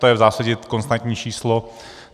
To je v zásadně konstantní číslo.